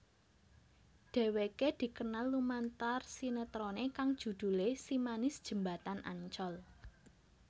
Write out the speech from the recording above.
Dhéwéké dikenal lumantar sinetroné kang judhulé Si Manis Jembatan Ancol